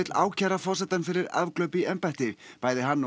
ákæra forsetann fyrir afglöp í embætti bæði hann og